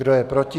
Kdo je proti?